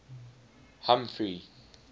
humphrey